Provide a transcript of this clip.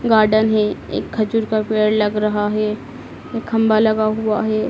Garden है एक खजूर का पेड़ लग रहा है खम्भा लगा हुआ है।